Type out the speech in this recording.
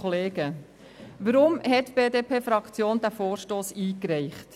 Weshalb hat die BDP-Fraktion diesen Vorstoss eingereicht?